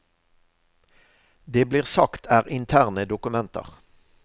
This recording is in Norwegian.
Det blir sagt er interne dokumenter.